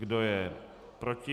Kdo je proti?